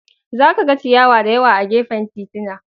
Za ka ga ciyawa da yawa a gefen titina.